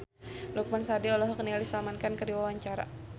Lukman Sardi olohok ningali Salman Khan keur diwawancara